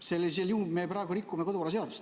Sellisel juhul me praegu rikume kodukorraseadust.